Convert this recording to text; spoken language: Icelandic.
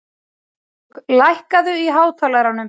Valborg, lækkaðu í hátalaranum.